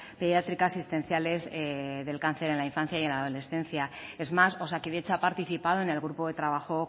pediátrica asistenciales del cáncer en la infancia y en la adolescencia es más osakidetza ha participado en el grupo de trabajo